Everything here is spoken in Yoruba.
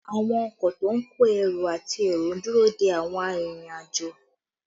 Àwọn ọkọ to ń kó ẹrù àti èrò ń dúró dé àwọn arìnrìn-àjò